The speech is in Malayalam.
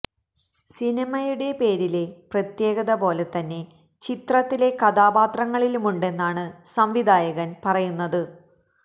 സിനിമയുടെ പേരിലെ പ്രത്യേകത പോലെ തന്നെ ചിത്രത്തിലെ കഥാപാത്രങ്ങളിലുമുണ്ടെന്നാണ് സംവിധായകന് പറയുന്നത്